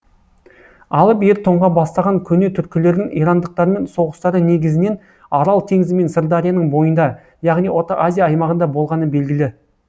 алып ер тоңға бастаған көне түркілердің ирандықтармен соғыстары негізінен арал теңізі мен сырдарияның бойында яғни орта азия аймағында болғаны белгілі